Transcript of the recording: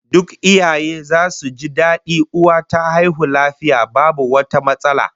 Duk iyaye zasu ji dadi uwa ta haihu lafiya babu wata matsala